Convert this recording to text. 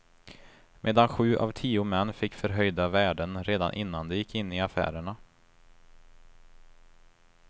Medan sju av tio män fick förhöjda värden redan innan de gick in i affärerna.